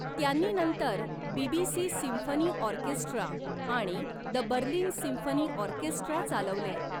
त्यांनी नंतर BBC symphony orchestra आणि द बर्लिन सिम्फनी ऑर्केस्ट्रा चालवले.